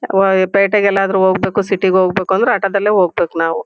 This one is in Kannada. ಯಾವಾಗ್ ಪೇಟೆ ಗೆಲ್ಲಾದ್ರೂ ಹೋಗ್ಬೇ ಕು ಸಿಟಿ ಹೋಗ್ಬೇಕು ಅಂದ್ರೆ ಆಟೋ ದಲ್ಲೇ ಹೋಗ್ಬೇಕ್ ನಾವು.